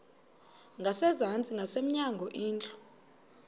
ngasezantsi ngasemnyango indlu